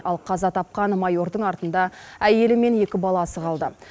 ал қаза тапқан майордың артында әйелі мен екі баласы қалды